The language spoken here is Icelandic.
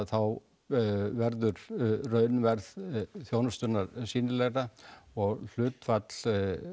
þá verður raunverð þjónustunnar sýnilegra og hlutfall